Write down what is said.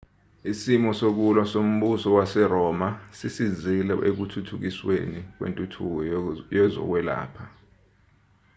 isimo sokulwa sombusa waseroma sisizile ekuthuthukisweni kwentuthuko yezokwelapha